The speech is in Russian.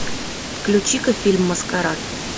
включи ка фильм маскарад